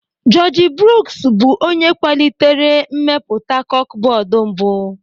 Jọọji Bruuks bụ onye kwalitere mmepụta kọkbọọdụ mbụ.